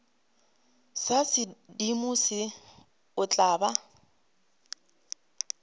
ba sedimo o tla ba